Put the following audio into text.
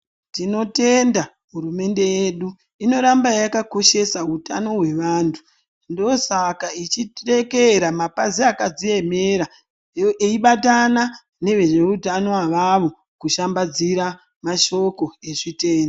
Tinotenda hurumende yedu inoramba yakakoshesa hutano hwevantu. Ndosaka ichidekera mapazi akadzi emera eibatana nezveutano avavo kushambadzira mashoko ezvitenda.